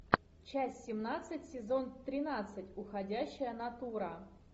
часть семнадцать сезон тринадцать уходящая натура